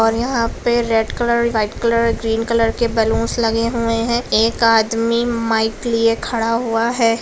और यहाँ पे red colour white colour green colour के बैलून्स लगे हुए है एक आदमी माइक लिए खड़ा हुआ है।